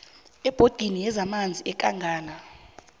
ebhodini yezamanzi yekangala